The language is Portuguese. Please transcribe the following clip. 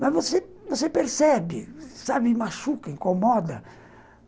Mas você percebe, sabe, machuca, incomoda.